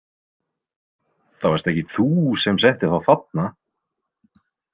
Það varst ekki þú sem settir þá þarna?